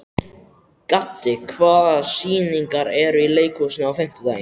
Gaddi, hvaða sýningar eru í leikhúsinu á fimmtudaginn?